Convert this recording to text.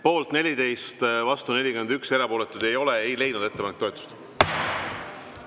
Poolt 14, vastu 41, erapooletuid ei ole, ei leidnud ettepanek toetust.